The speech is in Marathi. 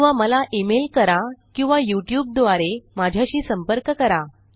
किंवा मला इमेल करा किंवा युट्यूब द्वारे माझ्याशी संपर्क करा